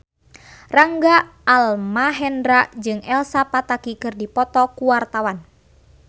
Rangga Almahendra jeung Elsa Pataky keur dipoto ku wartawan